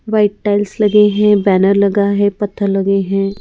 White tiles लगे हैं banner लगा है पत्थर लगे हैं ।